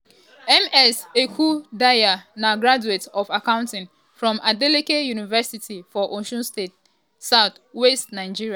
ms ekundayo na graduate of um accounting from adeleke university um for osun state south-west nigeria.